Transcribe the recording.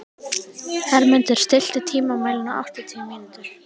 Hermundur, stilltu tímamælinn á áttatíu mínútur.